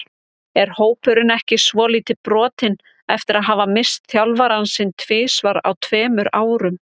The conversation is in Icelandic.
Er hópurinn ekki svolítið brotinn eftir að hafa misst þjálfarann sinn tvisvar á tveimur árum?